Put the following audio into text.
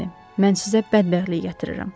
Şarni, mən sizə bədbəxtlik gətirirəm.